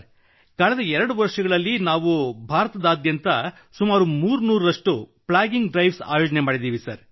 ಕಳೆದ 2 ವರ್ಷಗಳಲ್ಲಿ ನಾವು ಭಾರತದಾದ್ಯಂತ ಸುಮಾರು 300 ರಷ್ಟು ಪ್ಲಾಗಿಂಗ್ ಡ್ರೈವ್ಸ್ ಆಯೋಜಿಸಿದ್ದೇವೆ